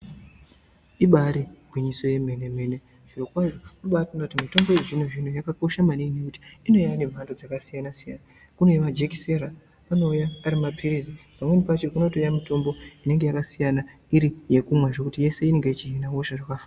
Ibari gwinyiso remene mene zviro kwazvo ukatarisa mitombo yechizvino zvino yakakosha maningi kuti inouya nemhando yakasiyana siyana kune yemakekiseni anouya Ari mapirizi kubotoouya mitombo inenge yakasiyana yese inenge yakakosha.